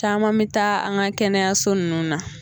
Caman bɛ taa an ka kɛnɛyaso ninnu na